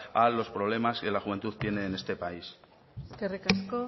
a los problemas que la juventud tiene en este país eskerrik asko